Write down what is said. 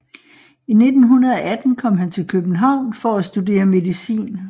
I 1918 kom han til København for at studere medicin